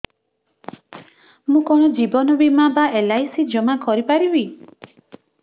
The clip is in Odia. ମୁ କଣ ଜୀବନ ବୀମା ବା ଏଲ୍.ଆଇ.ସି ଜମା କରି ପାରିବି